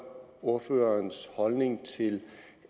ordførerens holdning til